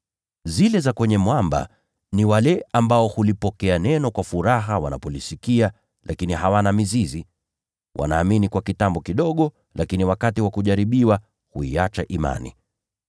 Zile mbegu zilizoanguka kwenye mwamba ni wale ambao hulipokea neno kwa furaha wanapolisikia, lakini hawana mizizi. Wanaamini kwa muda mfupi, lakini wakati wa kujaribiwa huiacha imani.